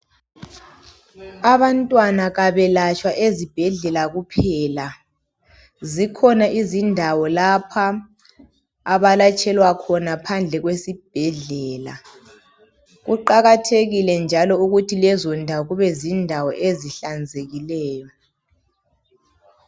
Abantwana kabelatshwa ezibhedlela kuphela. Zikhona izindawo lapha abalatshelwa khona phandle kwesibhedlela. Kuqakathekile njalo ukuthi lezo ndawo kube zindawo ezihlanzekileyo.